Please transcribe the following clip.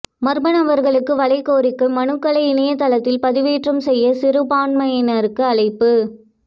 மர்ம நபர்களுக்கு வலை கோரிக்கை மனுக்களை இணையதளத்தில் பதிவேற்றம் செய்ய சிறுபான்மையினருக்கு அழைப்பு